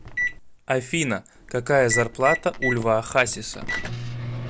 афина какая зарплата у льва хасиса